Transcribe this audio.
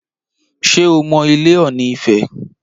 Ṣé o mọ ilé Ọ̀ọ̀nì ifẹ̀?